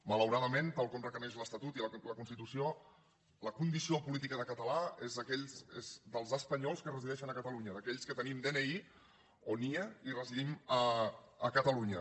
malauradament tal com requereixen l’estatut i la constitució la condició política de català és dels espanyols que resideixen a catalunya d’aquells que tenim dni o nie i residim a catalunya